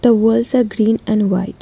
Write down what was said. The walls a green and white.